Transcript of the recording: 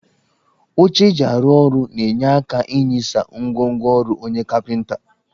Oche eji arụ ọrụ na-enye aka inyisa ngwongwo ọrụ onye kapịnta